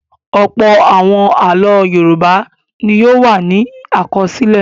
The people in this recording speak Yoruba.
Ọ̀pọ̀ àwọn àlọ́ Yorùbá ni yóò wà ní àkọsílẹ̀.